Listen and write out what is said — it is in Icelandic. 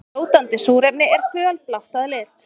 Fljótandi súrefni er fölblátt að lit.